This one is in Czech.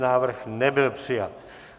Návrh nebyl přijat.